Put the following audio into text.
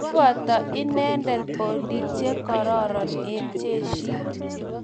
kiboto inendet poliek che kororon eng' jeshit.